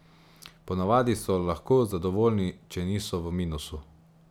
Ponavadi so lahko zadovoljni, če niso v minusu.